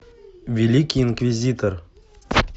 великий инквизитор